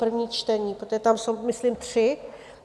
první čtení, protože tam jsou myslím tři.